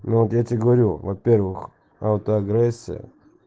вот тебе говорю во-первых аутоагрессия